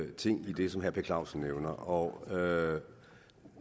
ting i det som herre per clausen nævner og